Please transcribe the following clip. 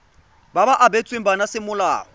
ba ba abetsweng bana semolao